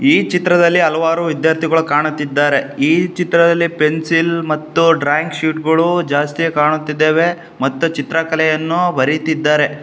ಈ ಚಿತ್ರದಲ್ಲಿ ಹಲವಾರು ವಿದ್ಯಾರ್ಥಿಗಳು ಕಾಣುತ್ತಿದ್ದಾರೆ. ಈ ಚಿತ್ರದಲ್ಲಿ ಪೆನ್ಸಿಲ್ ಮತ್ತು ಡ್ರಾಯಿಂಗ್ ಶೀಟ್ ಗಳು ಜಾಸ್ತಿ ಕಾಣುತ್ತಿದ್ದಾವೆ ಮತ್ತು ಚಿತ್ರಕಲೆಯನ್ನು ಬರೀತಿದ್ದಾರೆ.